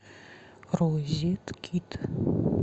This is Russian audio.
розет кид